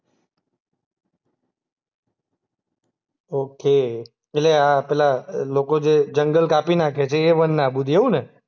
Okay. એટલે આ પેલા અ લોકો જે જંગલ કાપી નાંખે છે એ વન આબૂદી એવું ને?